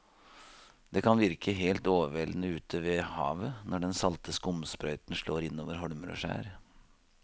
Det kan virke helt overveldende ute ved havet når den salte skumsprøyten slår innover holmer og skjær.